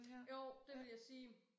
Jo det vil jeg sige